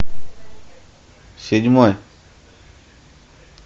седьмой